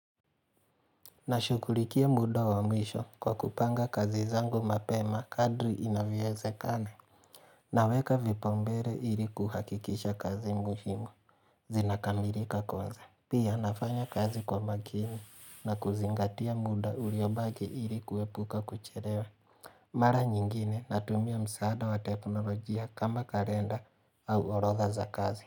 Nashughulikia mda wa mwisho kwa kupanga kazi zangu mapema kadri inavyoezekana Naweka vipaumbele ili kuhakikisha kazi muhimu zinakamilika kwanza. Pia nafanya kazi kwa makini na kuzingatia mda uliobaki ili kuepuka kuchelewe Mara nyingine natumia msaada wa teknolojia kama kalenda au orodha za kazi.